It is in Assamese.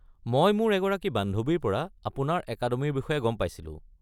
মই মোৰ এগৰাকী বান্ধৱীৰ পৰা আপোনাৰ একাডেমিৰ বিষয়ে গম পাইছিলো।